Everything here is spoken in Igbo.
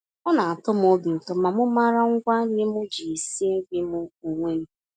Ọna atọm obi ụtọ na m màrà ngwa-nri m ji na-esi nri m onwe m.